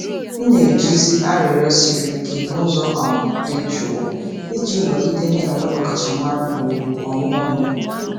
M na-ejizi arịrịọ siri ike n’ụzọ um dị jụụ iji nọgide na-enwe ọkachamara na ugwu onwe onye.